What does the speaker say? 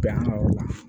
Bɛn an ŋa yɔrɔ la